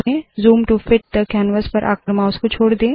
zoom to fit थे canvas पर आकर माउस को छोड़ दे